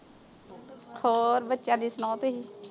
ਹੋਰ ਬੱਚਿਆਂ ਦੀ ਸੁਣਾਓ ਤੁਸੀਂ?